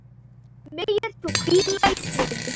Megir þú hvíla í friði.